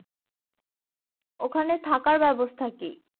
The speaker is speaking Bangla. ওখানে থাকার ব্যাবস্থা কি?